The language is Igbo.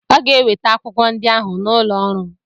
Ọ ga-eweta akwụkwọ ndị ahụ n'ụlọ ọrụ m.